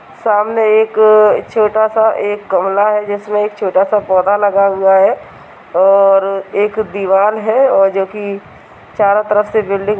सामने एक छोटा-सा एक गमला है जिसमें एक छोटा-सा पौधा लगा हुआ है और एक दीवाल है जो कि चारों तरफ से बिल्डिंग --